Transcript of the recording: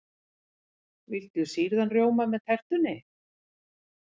Viltu sýrðan rjóma með tertunni?